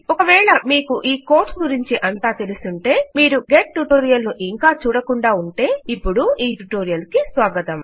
ఒకవేళ మీకు ఈ కోడ్స్ గురించి అంతా తెలిసుంటే మీరు గెట్ ట్యుటోరియల్ ను ఇంకా చూడకుండా ఉంటే ఇపుడు ఈ ట్యుటోరియల్ కి స్వాగతం